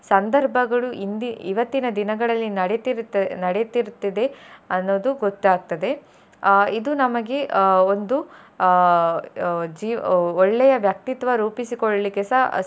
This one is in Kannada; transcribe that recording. ಸಂದರ್ಭಗಳು ಇಂದಿ~ ಇವತ್ತಿನ ದಿನಗಳಲ್ಲಿ ನಡಿತಿರುತ್ತಿರು~ ನಡೆತಿರುತ್ತದೆ ಅನ್ನೋದು ಗೊತ್ತಾಗ್ತದೆ ಅಹ್ ಇದು ನಮಗೆ ಅಹ್ ಒಂದು ಅಹ್ ಜೀವ್~ ಒಳ್ಳೆಯ ವ್ಯಕ್ತಿತ್ವ ರೂಪಿಸಿಕೊಳ್ಳಿಕ್ಕೆಸ.